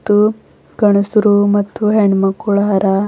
ತ್ತು ಗಂಡ್ಸರು ಮತ್ತು ಹೆಣ್ ಮಕ್ಳು ಅರಾ.